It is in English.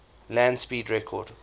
land speed record